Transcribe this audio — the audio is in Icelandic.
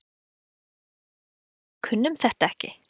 Það er kannski bara þannig að við kunnum þetta ekki.